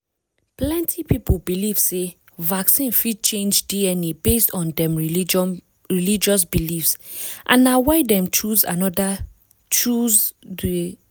plenty people believe sey vaccine fit change dna based on dem religious beliefs and na why dem choose another choose du